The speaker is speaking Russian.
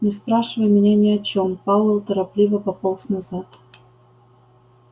не спрашивай меня ни о чём пауэлл торопливо пополз назад